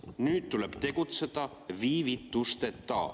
Nüüd tuleb tegutseda viivitusteta.